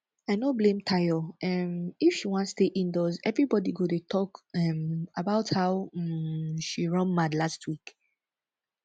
i no blame tayo um if she wan stay indoors everybody dey talk um about how um she run mad last week